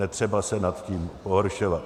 Netřeba se nad tím pohoršovat.